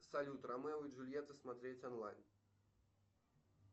салют ромео и джульетта смотреть онлайн